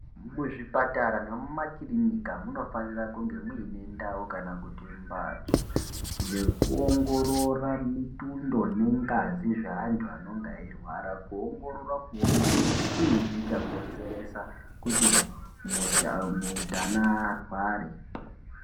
Muzvipatara nemumakirinika munofanika kunge muine ndau inoita kuti mbatso yekuongorora mihlobo ngengazi dzavntu vanenge vachirwara kuongorora kuti chini chakonzeresa kuti mundani arware.